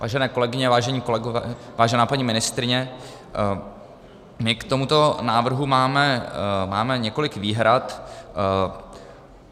Vážené kolegyně, vážení kolegové, vážená paní ministryně, my k tomuto návrhu máme několik výhrad.